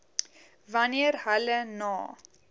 wanneer hulle na